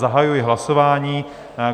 Zahajuji hlasování.